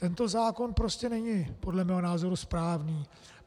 Tento zákon prostě není podle mého názoru správný.